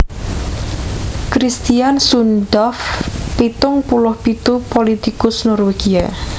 Kristian Sundtoft pitung puluh pitu pulitikus Norwégia